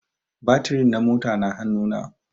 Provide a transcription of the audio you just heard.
Batiri na mota na hanu na